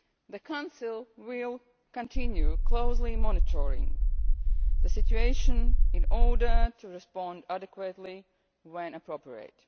Leon. The Council will continue closely monitoring the situation in order to respond adequately, when appropriate.